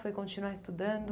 Foi continuar estudando?